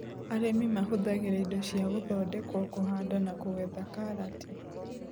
Arĩmi mahũthagĩra indo cia gũthondekwo kũhanda na kũgetha karati.